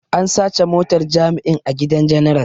An sace motar jami'in a gidan general.